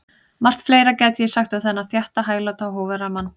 Margt fleira gæti ég sagt um þennan þétta, hægláta og hógværa mann.